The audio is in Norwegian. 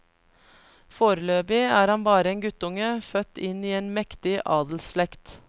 Foreløpig er han bare en guttunge, født inn i en mektig adelsslekt.